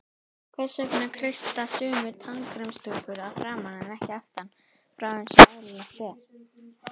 Hvers vegna kreista sumir tannkremstúpurnar að framan en ekki aftan frá eins og eðlilegt er?